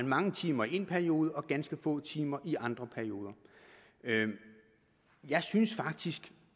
mange timer i én periode og ganske få timer i andre perioder jeg synes faktisk